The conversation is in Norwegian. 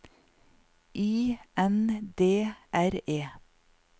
I N D R E